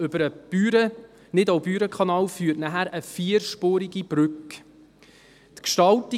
Über den Nidau-BürenKanal wird dann eine vierspurige Brücke führen.